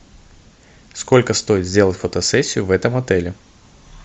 сколько стоит сделать фотосессию в этом отеле